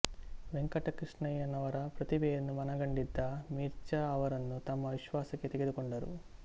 ವೆಂಕಟಕೃಷ್ಣಯ್ಯನವರ ಪ್ರತಿಭೆಯನ್ನು ಮನಗಂಡಿದ್ದ ಮಿರ್ಜಾ ಅವರನ್ನು ತಮ್ಮ ವಿಶ್ವಾಸಕ್ಕೆ ತೆಗೆದುಕೊಂಡರು